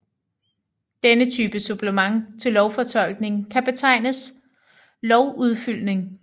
Denne type supplement til lovfortolkning kan betegnes lovudfyldning